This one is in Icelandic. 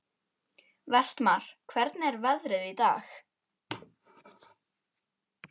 Vestmar, hvernig er veðrið í dag?